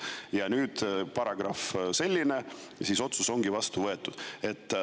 Ja meil on selline paragrahv, otsus on vastu võetud.